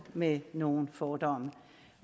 med nogle fordomme